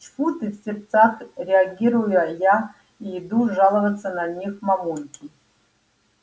тьфу ты в сердцах реагирую я и иду жаловаться на них мамульке